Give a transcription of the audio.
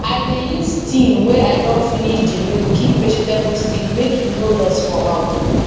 i dey use tin wey i don finish the milk keep vegetable seed make e no lost for house